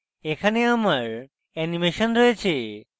এখানে আমার অ্যানিমেশন রয়েছে